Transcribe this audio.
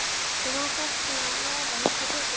Þú manst allt svona lagað miklu betur en ég.